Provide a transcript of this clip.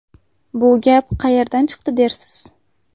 Bu gap qayerdan chiqdi dersiz?